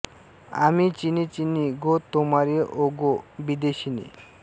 आमी चिनी चिनी गो तोमारे ओ गो बिदेशिनी